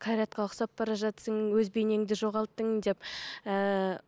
қайратқа ұқсап бара жатырсың өз бейнеңді жоғалттың деп ііі